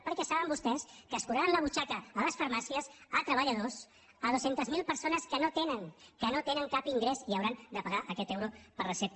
perquè saben vostès que escuraran la butxaca a les farmàcies a treballadors a dos cents miler persones que no tenen que no tenen cap ingrés i hauran de pagar aquest euro per recepta